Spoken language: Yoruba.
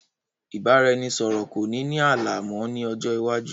Ìbáraẹnisọọ̀rọ̀ kò ní ní ààlà mọ ni ọjọ́ iwájú